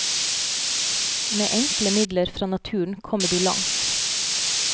Med enkle midler fra naturen kommer du langt.